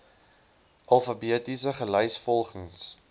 alfabeties gelys volgens